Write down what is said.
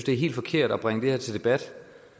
er helt forkert at bringe det her til debat